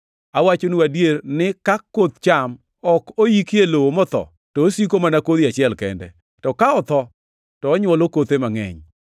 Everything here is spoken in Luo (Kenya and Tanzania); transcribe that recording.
Awachonu adier ni ka koth cham ok oiki e lowo motho, to osiko mana kodhi achiel kende. To ka otho, to onywolo kothe mangʼeny.